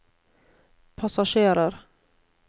passasjerer